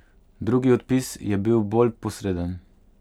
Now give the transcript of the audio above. Drugi odpis je bil bolj posreden.